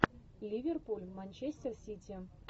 ливерпуль манчестер сити